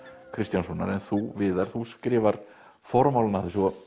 Kristjánssonar en þú Viðar þú skrifar formálann að þessu og